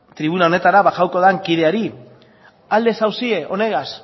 tribuna honetara bajatuko den kideari aldez zaudete honegaz